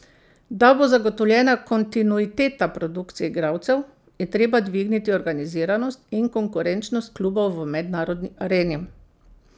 Da bo zagotovljena kontinuiteta produkcije igralcev, je treba dvigniti organiziranost in konkurenčnost klubov v mednarodni areni.